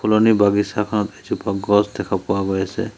ফুলনি বাগিছাখনত এজোপা গছ দেখা পোৱা গৈ আছে।